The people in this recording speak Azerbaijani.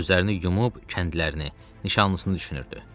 Gözlərini yumub kəndlərini, nişanlısını düşünürdü.